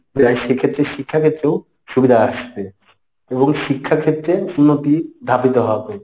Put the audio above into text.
প্রায় সেক্ষেত্রে শিক্ষাক্ষেত্রেও সুবিধা আসবে এবং শিক্ষাক্ষেত্রে উন্নতি ধাবিত হবে,